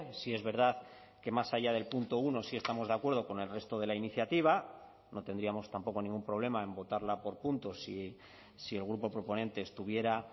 sí es verdad que más allá del punto uno sí estamos de acuerdo con el resto de la iniciativa no tendríamos tampoco ningún problema en votarla por puntos si el grupo proponente estuviera